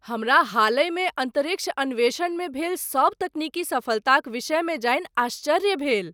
हमरा हालहिमे अन्तरिक्ष अन्वेषणमे भेल सभ तकनीकी सफलताक विषयमे जानि आश्चर्य भेल।